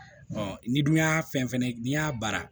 n'i dun y'a fɛn fɛnɛ n'i y'a baara